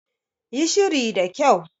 Yi shiri da kyau.